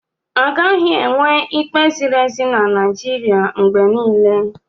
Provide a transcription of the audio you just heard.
Agaghị enwe ikpe ziri ezi na Naịjirịa mgbe niile.